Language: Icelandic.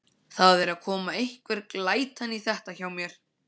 Það er að koma einhver glæta í þetta hjá mér.